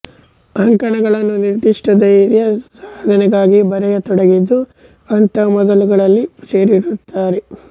ಅಂಕಣಗಳನ್ನು ನಿರ್ಧಿಷ್ಟ ಧ್ಯೇಯ ಸಾಧನೆಗಾಗಿ ಬರೆಯತೊಡಗಿದ್ದು ಅಂಥ ಮೊದಲುಗಳಲ್ಲಿ ಸೇರಿರುತ್ತದೆ